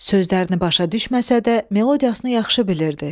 Sözlərini başa düşməsə də, melodiyasını yaxşı bilirdi.